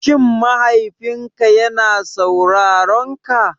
Shin mahaifinka yana saurarenka?